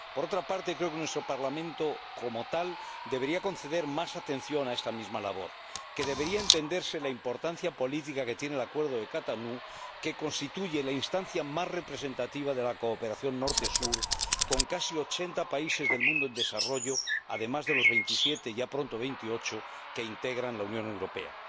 Por otra parte, creo que nuestro Parlamento, como tal, debería conceder más atención a esta misma labor, que debería entenderse la importancia política que tiene el Acuerdo de Cotonú, que constituye la instancia más representativa de la cooperación Norte Sur, con casi ochenta países del mundo en desarrollo, además de los veintisiete, ya pronto veintiocho, que integran la Unión Europea.